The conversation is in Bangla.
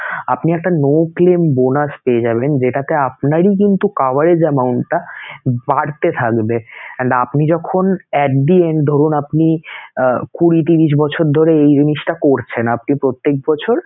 আপনি একটা no claim bonus পেয়ে যাবেন, যেটাতে আপনারই কিন্তু coverage amount টা বাড়তে থাকবে and আপনি যখন at the end ধরুন আপনি কুঁড়ি, ত্রিশ বছর ধরে এই জিনিসটা করছেন আপনি প্রত্যেক বছর